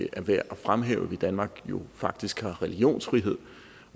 er værd at fremhæve da danmark faktisk har religionsfrihed